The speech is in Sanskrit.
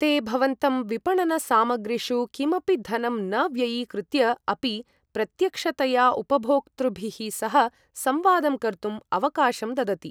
ते भवन्तं विपणनसामग्रीषु किमपि धनं न व्ययीकृत्य अपि प्रत्यक्षतया उपभोक्तृभिः सह संवादं कर्तुम् अवकाशं ददति।